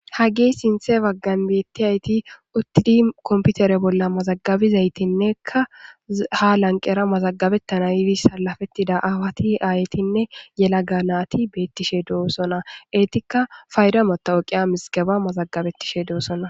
Hageyi sinththa baggani betiyayiti uttini komipitere bola mazagabizayitinnekka ha laniqeera mazagabetanna yidayitara salapetida ayetara aawataranne yelaga nayiti betishe dosona eyitikka payida matawiqiya mizigebba mazagabetishe deosoona